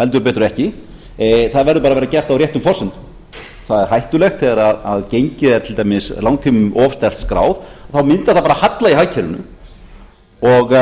heldur betur ekki það verður að vera gert á réttum forsendum það er hættulegt þegar gengi er til dæmis langtímum of sterkt skráð þá myndar það halla í hagkerfinu og